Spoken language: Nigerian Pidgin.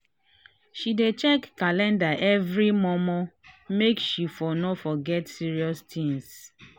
she dey check calandar everi mor mor make she for no forget serious things.